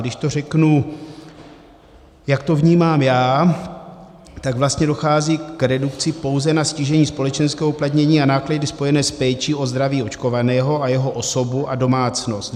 Když to řeknu, jak to vnímám já, tak vlastně dochází k redukci pouze na ztížení společenského uplatnění a náklady spojené s péčí o zdraví očkovaného a jeho osobu a domácnost.